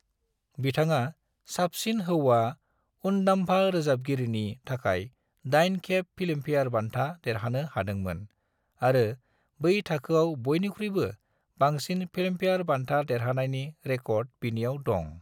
बिथाङा साबसिन हौवा उनदाम्फा रोजाबगिरिनि थाखाय 8 खेब फिल्मफेयार बान्था देरहानो हादोंमोन आरो बै थाखोआव बयनिख्रुयबो बांसिन फिल्मफेयार बान्था देरहानायनि रिकर्डा बिनियाव दं।